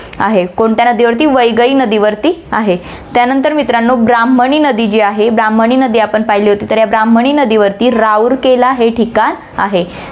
आहे. कोणत्या नदीवरती, वैगई नदीवरती आहे. त्यानंतर मित्रांनो, ब्राम्हणी नदी जी आहे, ब्राम्हणी नदी आपण पाहिली होती, तर या ब्राम्हणी नदीवरती राउरकेला हे ठिकाण आहे.